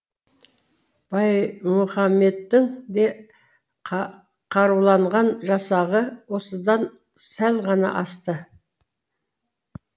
баймұхамедтің де қаруланған жасағы осыдан сәл ғана асты